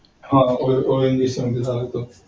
हा ONGC मध्ये झाला.